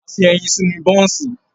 A fi ẹyin sínú bọ́ọ̀ńsì